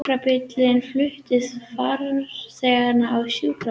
Sjúkrabíll flutti farþegann á sjúkrahús